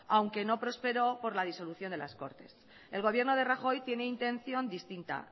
aunque no prosperó por la disolución de las cortes el gobierno de rajoy tiene intención distinta